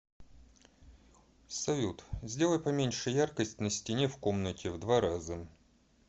салют сделай поменьше яркость на стене в комнате в два раза